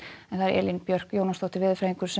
Elín Björk Jónasdóttir veðurfræðingur